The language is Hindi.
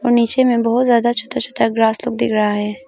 और नीचे में बहुत ज्यादा छोटा छोटा ग्रास लोग दिख रहा है।